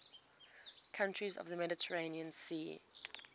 countries of the mediterranean sea